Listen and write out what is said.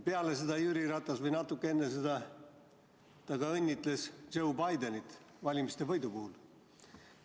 Peale seda või natuke enne seda õnnitles Jüri Ratas Joe Bidenit valimisvõidu puhul.